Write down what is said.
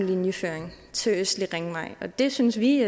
linjeføring end østlig ringvej og det synes vi i